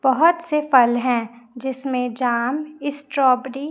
बहोत से फल है जिसमें जाम स्ट्रॉबेरी --